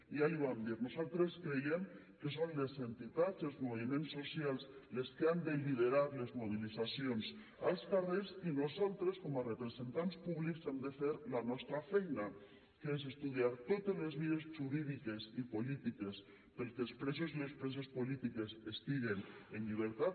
ja l’hi vam dir nosaltres creiem que són les entitats i els moviments socials les que han de liderar les mobilitzacions als carrers i nosaltres com a representants públics hem de fer la nostra feina que és estudiar totes les vies jurídiques i polítiques perquè els presos i les preses polítiques estiguen en llibertat